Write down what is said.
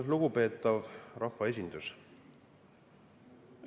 Lugupeetav rahvaesindus!